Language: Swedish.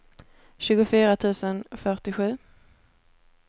tjugofyra tusen fyrtiosju